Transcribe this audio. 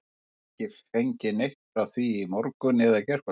Ég hef ekki fengið neitt frá því í morgun eða gærkvöldi.